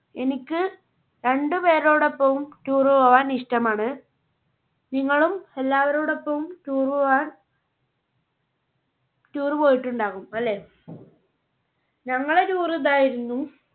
എനിക്ക് രണ്ട് പേരോടൊപ്പവും tour പോകാൻ ഇഷ്ടമാണ്. നിങ്ങളും എല്ലാവരോടൊപ്പവും tour പോയികാൻ tour പോയിട്ടുണ്ടാകും അല്ലേ? ഞങ്ങളെ tour ഇതായിരുന്നു.